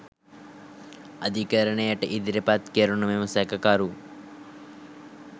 අධිකරණයට ඉදිරිපත් කෙරුණු මෙම සැකකරු